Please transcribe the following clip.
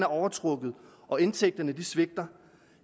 overtrukket og indtægterne svigter